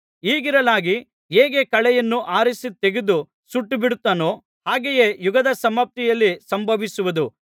ಹೀಗಿರಲಾಗಿ ಹೇಗೆ ಕಳೆಯನ್ನು ಆರಿಸಿ ತೆಗೆದು ಸುಟ್ಟುಬಿಡುತ್ತಾರೋ ಹಾಗೆಯೇ ಯುಗದ ಸಮಾಪ್ತಿಯಲ್ಲಿ ಸಂಭವಿಸುವುದು